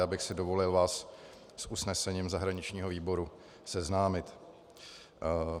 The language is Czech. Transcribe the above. Já bych si dovolil vás s usnesením zahraničního výboru seznámit.